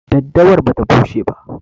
Daddawar bata bushe ba.